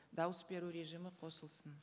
дауыс беру режимі қосылсын